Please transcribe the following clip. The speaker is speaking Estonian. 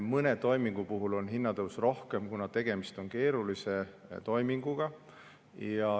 Mõne toimingu puhul on hinnatõusu rohkem, kuna tegemist on keerulise toiminguga.